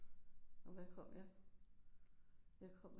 Hvad kom jeg jeg kom